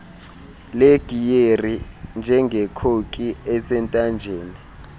legiyeri njengekhoki esentanjeni